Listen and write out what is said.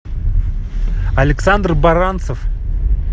александр баранцев